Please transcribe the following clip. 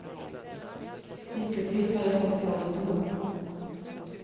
Lyckligtvis har jag fått jobb ändå.